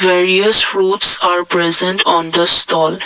various fruits are present on the stall.